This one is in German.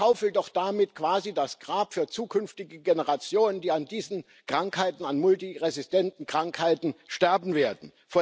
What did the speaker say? Sie schaufelt doch damit quasi das Grab für zukünftige Generationen, die an diesen Krankheiten, an multiresistenten Krankheiten sterben werden.